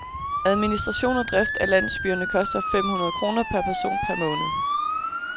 Administration og drift af landsbyerne koster fem hundrede kroner per person per måned.